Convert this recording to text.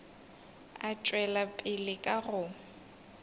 a tšwela pele ka go